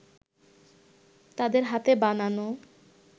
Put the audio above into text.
তাদের হাতে বানানো